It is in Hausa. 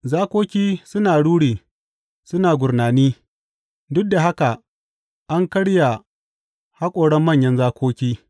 Zakoki suna ruri suna gurnani; duk da haka an karya haƙoran manyan zakoki.